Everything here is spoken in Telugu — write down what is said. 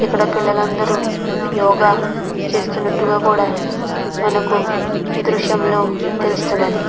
ఇక్కడ పిల్లలు అందరు యోగ చేస్తునట్టు కూడా మనకి ఈ దృశ్యం లో తెలుస్తున్నది .